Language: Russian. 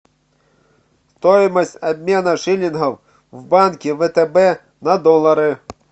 стоимость обмена шиллингов в банке втб на доллары